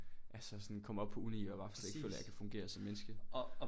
Altså sådan kommer op uni og bare slet ikke føler jeg kan fungere som menneske